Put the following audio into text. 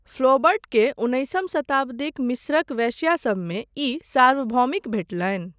फ्लॉबर्टके उन्नैसम शताब्दीक मिस्रक वेश्यासभमे ई सार्वभौमिक भेटलनि।